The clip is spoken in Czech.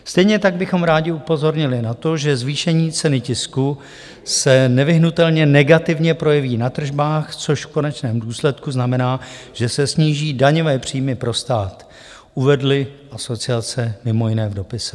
Stejně tak bychom rádi upozornili na to, že zvýšení ceny tisku se nevyhnutelně negativně projeví na tržbách, což v konečném důsledku znamená, že se sníží daňové příjmy pro stát, uvedly asociace mimo jiné v dopise.